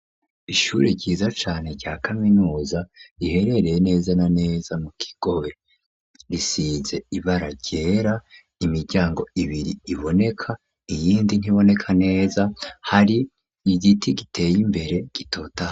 Ishure ryiza cane rya kaminuza riherereye neza na neza mu Kigobe, risize ibara ryera imiryango ibiri iboneka iyindi ntiboneka neza, hari igiti giteye imbere gitotahaye.